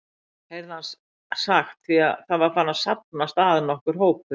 heyrði hann sagt, því það var farinn að safnast að nokkur hópur.